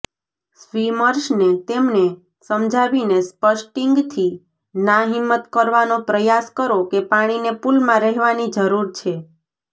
સ્વિમર્સને તેમને સમજાવીને સ્પષ્ટીંગથી નાહિંમત કરવાનો પ્રયાસ કરો કે પાણીને પૂલમાં રહેવાની જરૂર છે